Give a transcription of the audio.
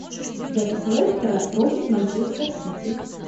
запись лестера против манчестер сити